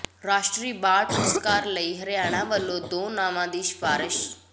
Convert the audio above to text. ਰਾਸ਼ਟਰੀ ਬਾਲ ਪੁਰਸਕਾਰ ਲਈ ਹਰਿਆਣਾ ਵਲੋਂ ਦੋ ਨਾਵਾਂ ਦੀ ਸਿਫਾਰਸ਼